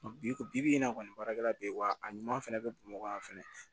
Bi ko bi in na kɔni baarakɛla bɛ yen wa a ɲuman fana bɛ bamakɔ yan fɛnɛ